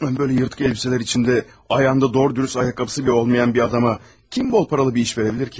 Mən belə cırıq paltarlar içində, ayağında doğru-düzgün ayaqqabısı belə olmayan bir adama kim bol pullu bir iş verə bilər ki?